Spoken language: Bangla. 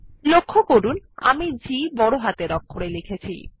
লক্ষ্য করুন আমি G বড় হাতের অক্ষরে লিখেছি